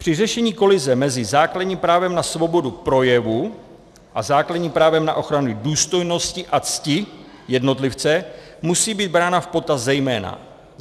Při řešení kolize mezi základním právem na svobodu projevu a základním právem na ochranu důstojnosti a cti jednotlivce musí být brána v potaz zejména